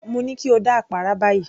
Mo ní kí o dá àpárá báyìí